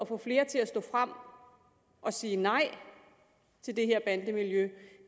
få flere til at stå frem og sige nej til det her bandemiljø